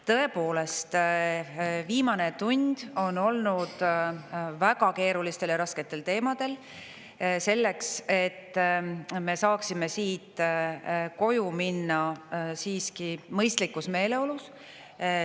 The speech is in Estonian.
Tõepoolest, viimane tund on olnud väga keerulistel ja rasketel teemadel, selleks et me saaksime siit koju minna siiski mõistlikus meeleolus.